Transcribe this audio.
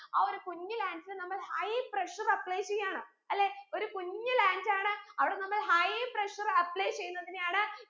ആ ഒരു കുഞ്ഞു lands ൽ നമ്മൾ high pressure apply ചെയാണ് അല്ലെ ഒരു കുഞ്ഞു land ആണ് അവിടെ നമ്മൾ high pressureapply ചെയ്യുന്നതിനെയാണ്